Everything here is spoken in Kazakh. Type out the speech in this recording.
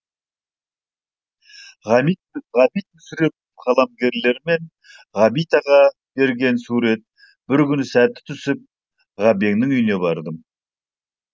ғабит ғабит мүсірепов қаламгерлермен ғабит аға берген суретбір күні сәті түсіп ғабеңнің үйіне бардым